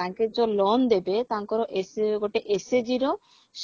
ତାଙ୍କେ ଯଉ loan ଦେବେ ତାଙ୍କର ଏସ ଗୋଟେ SHG ର